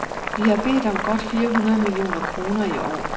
Vi har bedt om godt fire hundrede millioner kroner i år.